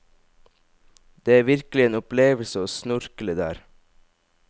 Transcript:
Det er virkelig en opplevelse å snorkle der.